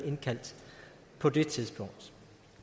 indkaldt på det tidspunkt